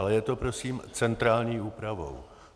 Ale je to prosím centrální úpravou.